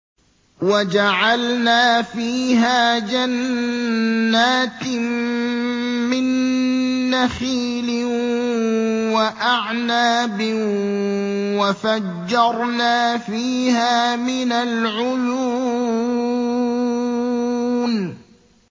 وَجَعَلْنَا فِيهَا جَنَّاتٍ مِّن نَّخِيلٍ وَأَعْنَابٍ وَفَجَّرْنَا فِيهَا مِنَ الْعُيُونِ